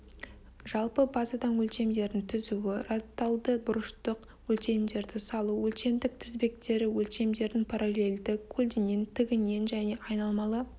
жалпы базадан өлшемдердің түзуі радтальді бұрыштық өлшемдерді салу өлшемдік тізбектері өлшемдердің параллельді көлденең тігінен және айналмалы